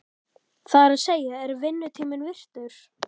Það er að segja, er vinnutími virtur?